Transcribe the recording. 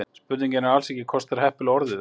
Spurningin er ekki alls kostar heppilega orðuð.